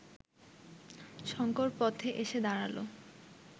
শঙ্কর পথে এসে দাঁড়াল